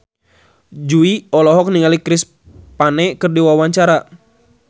Jui olohok ningali Chris Pane keur diwawancara